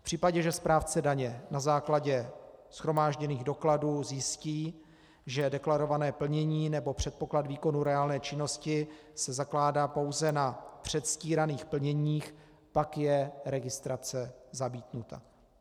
V případě, že správce daně na základě shromážděných dokladů zjistí, že deklarované plnění nebo předpoklad výkonu reálné činnosti se zakládá pouze na předstíraných plněních, pak je registrace zamítnuta.